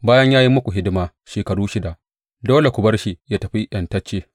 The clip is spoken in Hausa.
Bayan ya yi muku hidima shekaru shida, dole ku bar shi yă tafi ’yantacce.’